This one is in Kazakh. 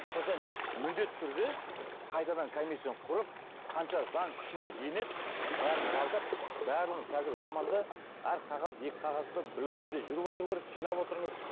сондықтан міндетті түрде қайтадан комиссияны құрып қанша заң күшіне енеді бәрін жалдап барлығын қазір заманда әр қағаз екі қағаз ба біреуі сізде жүріп отыру керек жинап отырыңыз